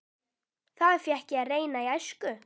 Það fékk ég að reyna í æsku.